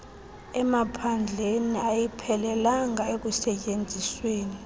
emaphandleni ayiphelelanga ekusetyenzisweni